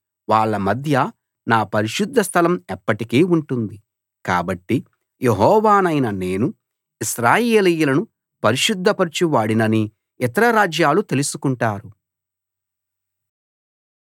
వాళ్ళ మధ్య నా పరిశుద్ధస్థలం ఎప్పటికీ ఉంటుంది కాబట్టి యెహోవానైన నేను ఇశ్రాయేలీయులను పరిశుద్ధపరచువాడినని ఇతర రాజ్యాలు తెలుసుకుంటారు